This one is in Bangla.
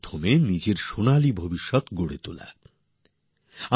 আবার নিজেদের স্বর্ণালী ভবিষ্যৎকে উজ্জ্বল করে তুলতে পারি